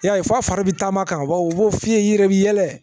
Yali f'a bɛ taama ka baw o f'i ye i yɛrɛ bi yɛlɛ